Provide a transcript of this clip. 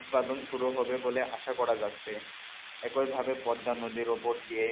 উৎপাদন শুরু হবে বলে আশা করা যাচ্ছে একইভাবে পদ্মা নদীর উপর দিয়ে